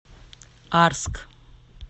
арск